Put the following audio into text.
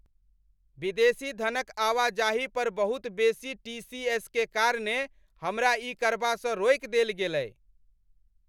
विदेशी धनक आवाजाही पर बहुत बेसी टी.सी.एस. के कारणेँ हमरा ई करबासँ रोकि देल गेलय।